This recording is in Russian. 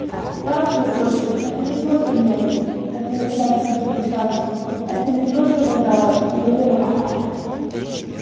прав твой отчим это не просто нежить как на десятках других станций не просто вандалы не выродки